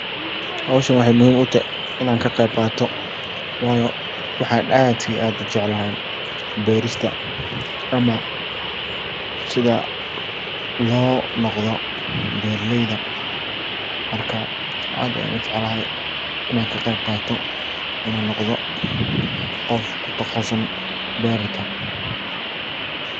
Howshan waxey muhim u tahay inan ka qeyb qato. Waayo waxan aad iyo aad u jeclahay berista ama sidha lo noqdo beeraleyda marka aad ayan u jeclahay inan ka qeyb qato inan noqodo qof kutaqasusan berta.